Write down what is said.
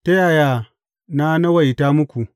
Ta yaya na nawaita muku?